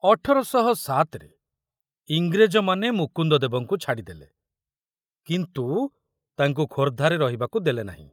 ଅଠର ଶହ ସାତ ମସିହାରେ ଇଂରେଜମାନେ ମୁକୁନ୍ଦଦେବଙ୍କୁ ଛାଡ଼ିଦେଲେ, କିନ୍ତୁ ତାଙ୍କୁ ଖୋର୍ଦ୍ଧାରେ ରହିବାକୁ ଦେଲେନାହିଁ।